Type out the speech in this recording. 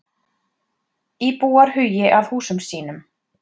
Íbúar hugi að húsum sínum